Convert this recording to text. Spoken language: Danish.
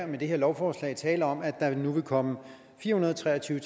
det her lovforslag tale om at der nu vil komme fire hundrede og tre og tyve